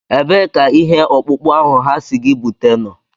Ebee ka ihe ọkpụkpụ ahụ ha sị gị bute nọ?